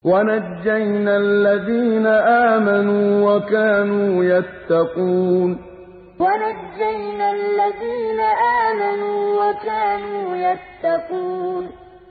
وَنَجَّيْنَا الَّذِينَ آمَنُوا وَكَانُوا يَتَّقُونَ وَنَجَّيْنَا الَّذِينَ آمَنُوا وَكَانُوا يَتَّقُونَ